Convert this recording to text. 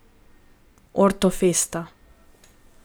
Orto festa.